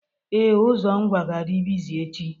Ee, ụzọ Ngwa ga-adị bịzị echi.